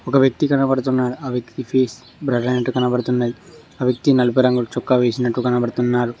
ఒక వ్యక్తి కనబడుతున్నాడు ఆ వ్యక్తి ఫేస్ బ్లర్ అయినట్టు కనబడుతున్నది ఆ వ్యక్తి నలుపు రంగు చొక్కా వేసినట్టు కనబడుతున్నారు.